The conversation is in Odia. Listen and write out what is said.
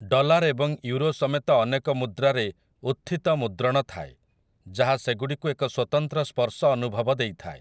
ଡଲାର୍ ଏବଂ ୟୁରୋ ସମେତ ଅନେକ ମୁଦ୍ରାରେ ଉତ୍‌ଥିତ ମୁଦ୍ରଣ ଥାଏ, ଯାହା ସେଗୁଡ଼ିକୁ ଏକ ସ୍ୱତନ୍ତ୍ର ସ୍ପର୍ଶ ଅନୁଭବ ଦେଇଥାଏ ।